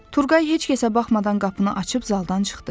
Turğay heç kəsə baxmadan qapını açıb zaldan çıxdı.